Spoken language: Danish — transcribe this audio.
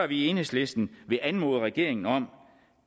vi i enhedslisten vil anmode regeringen om